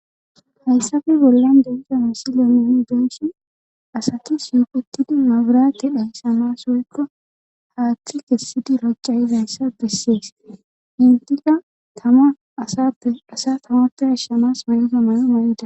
Hayssafe bollan densama silemeoni densin asati yuqutidi mabura ke dhaysamas woykka haaththi kessidi racca izayssa bessiyees hintika tama asappe asa tamappa ashshamas woygamayo marida.